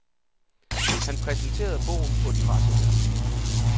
Han præsenterede bogen på et pressemøde.